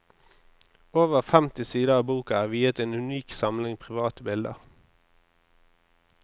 Over femti sider av boka er viet en unik samling private bilder.